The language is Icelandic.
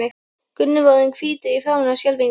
Gunni var orðinn hvítur í framan af skelfingu.